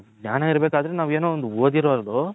ಆ ಜ್ಞಾನ ಇರಬೇಕ್ ಆದ್ರೆ ನಾವ್ ಏನೋ ಒಂದು ಓದಿರೋದು.